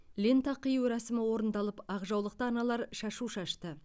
лента қию рәсімі орындалып ақ жаулықты аналар шашу шашты